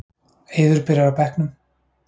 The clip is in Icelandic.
Eiður byrjar á bekknum